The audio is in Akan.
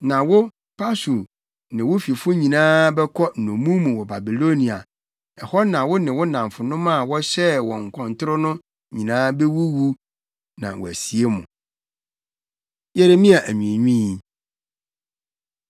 Na wo Pashur, ne wo fifo nyinaa bɛkɔ nnommum mu wɔ Babilonia. Ɛhɔ na wo ne wo nnamfonom a wohyɛɛ wɔn akɔntoro no nyinaa bewuwu na wɔasie mo.’ ” Yeremia Anwiinwii